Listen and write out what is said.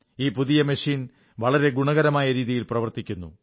ഈ പുതിയ മെഷീൻ വളരെ ഗുണകരമായ രീതിയിൽ പ്രവർത്തിക്കുന്നു